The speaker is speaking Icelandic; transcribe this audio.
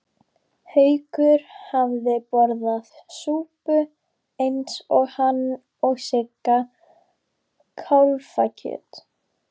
Haukur hafði borðað súpu eins og hann og Sigga kálfakjöt.